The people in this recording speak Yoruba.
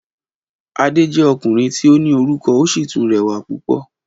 Adé jẹ́ ọkùnrin tí ó ní orúkọ ó sì tún rẹwà púpò